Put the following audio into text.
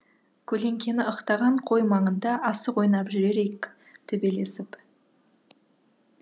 көлеңкені ықтаған қой маңында асық ойнап жүрер ек төбелесіп